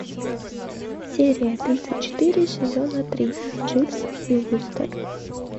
серия тридцать четыре сезона три дживс и вустер